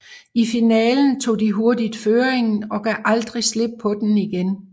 I finalen tog de hurtigt føringen og gav aldrig slip på den igen